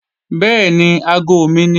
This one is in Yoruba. Bẹ́ẹ̀ni, aago mi ni